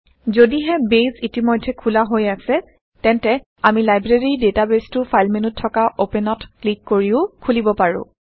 যদিহে বেইছ ইতিমধ্যে খোলা হৈ আছে তেন্তে আমি লাইব্ৰেৰী ডেটাবেইছটো ফাইল মেন্যুত থকা অপেনত ক্লিক কৰিও খোলিব পাৰো